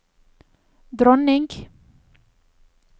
dronning